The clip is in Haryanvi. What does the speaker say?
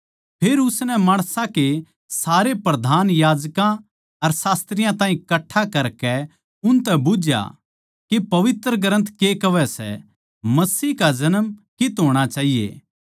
फेर उसनै माणसां के सारे प्रधान याजकां अर शास्त्रियाँ ताहीं कठ्ठा करकै उनतै बुझ्झया के पवित्र ग्रन्थ के कहवै सै मसीह का जन्म कित्त होणा चाहिये